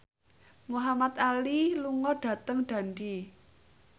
Muhamad Ali lunga dhateng Dundee